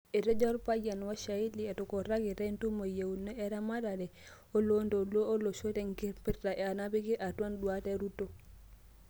Etejo olpayian Washaili etukurakita entumo yieuna eramatare o loontoluo leleosho tenkipirta napiki atua induat e Ruto.